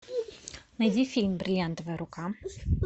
найди фильм бриллиантовая рука